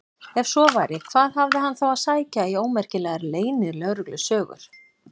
Ef svo væri, hvað hafði hann þá að sækja í ómerkilegar leynilögreglusögur?